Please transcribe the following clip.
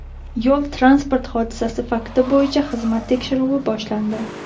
Yo‘l-transport hodisasi fakti bo‘yicha xizmat tekshiruvi boshlandi.